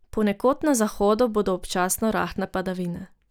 Ponekod na zahodu bodo občasno rahle padavine.